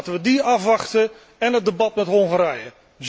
Laten we die afwachten, én het debat met Hongarije.